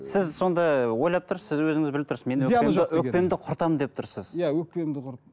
сіз сонда ойлап тұрсыз сіз өзіңіз біліп тұрсыз өкпемді құртамын деп тұрсыз иә өкпемді